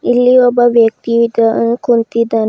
ಇಲ್ಲಿ ಒಬ್ಬ ವ್ಯಕ್ತಿಯು ಇಕಾ ಕುಂತಿದ್ದಾನೆ.